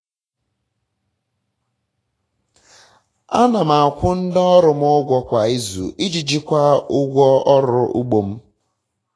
ana m akwụ ndị ọrụ m ụgwọ kwa izu iji jikwaa ụgwọ ọrụ ugbo m